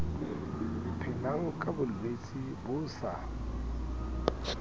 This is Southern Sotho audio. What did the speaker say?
phelang ka bolwetse bo sa